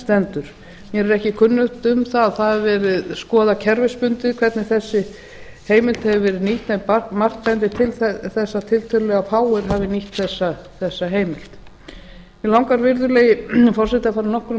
mér er ekki kunnugt um að það hafi verið skoðað kerfisbundið hvernig þessi heimild hefur verið nýtt en margt bendir til þess að tiltölulega fáir hafi nýtt þessa heimild mig langar virðulegi forseti að fara nokkrum